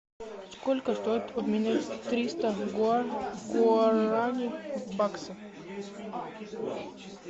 сколько стоит обменять триста гуарани в баксы